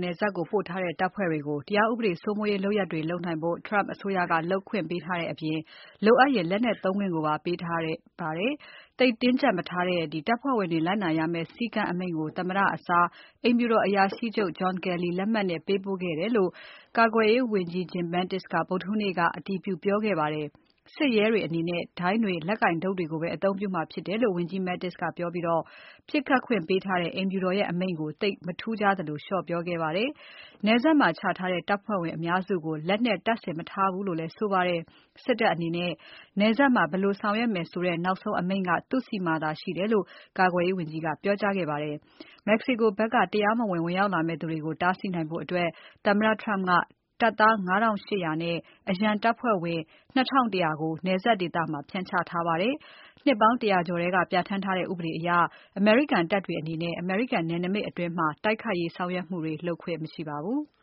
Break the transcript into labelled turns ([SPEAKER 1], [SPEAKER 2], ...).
[SPEAKER 1] နယ်စပ်ကို ပို့ထားတဲ့တပ်ဖွဲ့တွေကို တရားဥပဒေစိုးမိုးရေးလုပ်ရပ်တွေ လုပ်နိုင်ဖို့ Trump အစိုးရက လုပ်ခွင့်ပေးထားတဲ့အပြင် လိုအပ်ရင် လက်နက်သုံးခွင့်ကိုပါ ပေးထားပါတယ်။ သိပ်တင်းကြပ်မထားတဲ့ တပ်ဖွဲ့ဝင်တွေလိုက်နာရမယ့်စည်းကမ်းအမိန့်ကို သမ္မတအစား အိမ်ဖြူတော်အရာရှိချုပ်လက်မှတ်နဲ့ ပေးပို့ခဲ့တယ်လို့ ကာကွယ်ရေးဝန်ကြီး Jim Mattis ကဗုဒ္ဓဟူးနေ့က အတည်ပြုပြောခဲ့ပါတယ်။ စစ်ရဲတွေအနေနဲ့ ဒိုင်းတွေ လက်ကိုင်တုတ်တွေကိုပဲ အသုံးပြုမှာဖြစ်တယ်လို့ ဝန်ကြီး Mattis ကပြောပြီး ပြစ်ခတ်ခွင့်ပေးထားတဲ့ အိမ်ဖြူတော်ရဲ့အမိန့်ကို သိပ်မထူးခြားသလို လျော့ပြောခဲ့ပါတယ်။ နယ်စပ်မှာချထားတဲ့တပ်ဖွဲ့ဝင်အများစုကို လက်နက်တပ်ဆင် မထားဘူးလို့လည်းဆိုပါတယ်။ စစ်တပ်အနေနဲ့ နယ်စပ်မှာ ဘယ်လိုဆောင်ရွက်မယ်ဆိုတဲ့ နောက်ဆုံးအမိန့်က သူ့ဆီမှာသာရှိတယ်လို့လည်း ကာကွယ်ရေးဝန်ကြီးကပြောပါတယ်။ Mexico ဖက်ကတရားမဝင် ဝင်ရောက်လာမယ့်သူတွေကို တားဆီးနိုင်ဖို့ သမ္မတ Trump ကတပ်သား ၅ ထောင့် ၈ ရာနဲ့ အရန်တပ်ဖွဲ့ဝင် ၂ ထောင့် ၁ ရာကို နယ်စပ်ဒေသမှာ ဖြန့်ချထားပါတယ်။ နှစ်ပေါင်း ၁၀၀ ကျော်ထဲက ပြဌာန်းထားတဲ့ ဥပဒေအရ အမေရိကန်တပ်တွေအနေနဲ့ အမေရိကန်နယ်နိမိတ်အတွင်း တိုက်ခိုက်ရေးဆောင်ရွက်မှုတွေ လုပ်ခွင့်
[SPEAKER 2] မရှိပါဘူး။